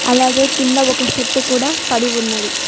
అలాగే కింద ఒక షట్టు కూడా పడి ఉన్నది.